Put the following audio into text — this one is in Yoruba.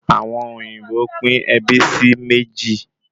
Àwọn òyìnbó pín ẹbí sí méjì